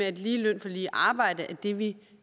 at lige løn for lige arbejde er det vi